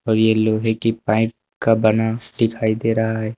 और ये लोहे की पाइप का बना दिखाई दे रहा है।